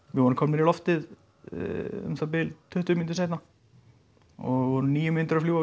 við vorum komnir í loftið um það bil tuttugu mínútum seinna og vorum níu mínútur að fljúga